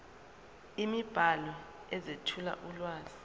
imibhalo ezethula ulwazi